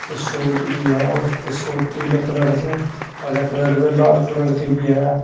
कुछ सूट भी हैं और कुछ सूट पीले कलर के हरे कलर के अ लाल कलर के भी हैं।